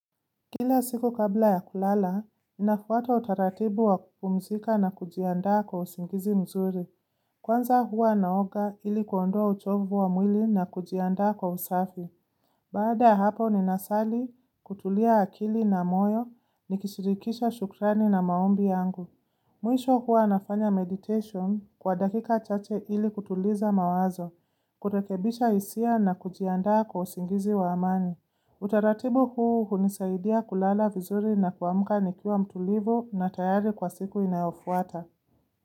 Kila siku kabla ya kulala, ninafuata utaratibu wa kupumzika na kujiandaa kwa usingizi mzuri. Kwanza huwa naoga ili kuondoa uchovu wa mwili na kujianda kwa usafi. Baada ya hapo ninasali, kutulia akili na moyo, nikishirikisha shukrani na maombi yangu. Mwisho huwa nafanya meditation kwa dakika chache ili kutuliza mawazo, kurekebisha hisia na kujianda kwa usingizi wa amani. Utaratibu huu hunisaidia kulala vizuri na kuamuka nikiwa mtulivu na tayari kwa siku inayofuata.